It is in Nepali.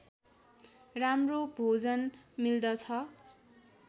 राम्रो भोजन मिल्दछ